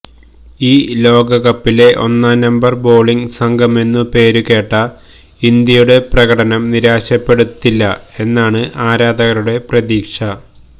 ഈ ലോകകപ്പിലെ ഒന്നാം നമ്പർ ബോളിങ് സംഘമെന്നു പേരു കേട്ട ഇന്ത്യയുടെ പ്രകടനം നിരാശപ്പെടുത്തില്ല എന്നാണ് ആരാധകരുടെ പ്രതീക്ഷ